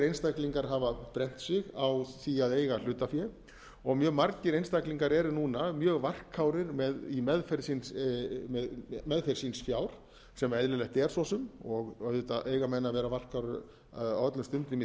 einstaklingar hafa brennt sig á því að eiga hlutafé og mjög margir einstaklingar eru núna mjög varkárir í meðferð síns fjár sem eðlilegt er svo sem auðvitað eiga menn að vera varkárir á öllum stundum í